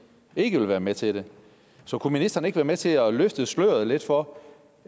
ikke vil være med til det så kunne ministeren ikke være med til at løfte sløret for